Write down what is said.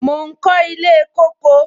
Mo ń kọ ilé kóko